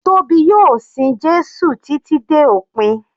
Tóbi yóò sin Jésù títí dé òpin.